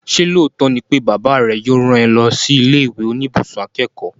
Ṣé lóòótọ́ ni pé bàbá rẹ yóò rán ẹ lọ sí ilé ìwé oníbùsùn akẹ́kọ̀ọ́?